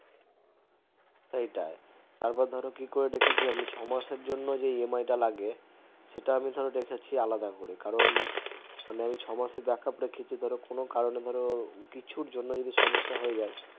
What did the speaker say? সেটাই তারপর ধরো কি করে রেখেছি আমি ছয় মাসের জন্য EMI তো লাগে সেটা আমি রেখেছি আলাদা করে কারণ এই ছয় মাসের backup রেখেছি কোনো কারণে ধরো কিছু জন্য সমস্যা হয়ে যায়